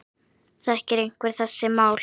Þekkir einhver þessi mál?